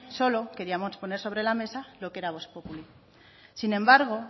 solo queríamos poner sobre la mesa lo que era vox populi sin embargo